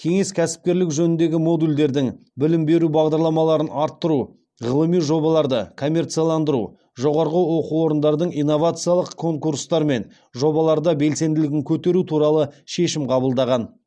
кеңес кәсіпкерлік жөніндегі модульдердің білім беру бағдарламаларын арттыру ғылыми жобаларды коммерцияландыру жоғарғы оқу орындардың инновациялық конкурстар мен жобаларда белсенділігін көтеру туралы шешім қабылдаған